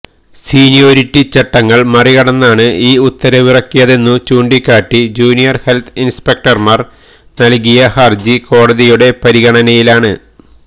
seniority ചട്ടങ്ങള് മറികടന്നാണ് ഈ ഉത്തരവിറക്കിയതെന്നു ചൂണ്ടിക്കാട്ടി ജൂനിയര് ഹെല്ത്ത് ഇന്സ്പെക്ടര്മാര് നല്കിയ ഹര്ജി കോടതിയുടെ പരിഗണനയിലാണ്